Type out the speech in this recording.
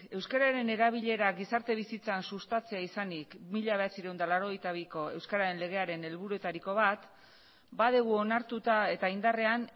euskararen erabilera gizarte bizitzan sustatzea izanik mila bederatziehun eta laurogeita biko euskararen legearen helburuetariko bat badugu onartuta eta indarrean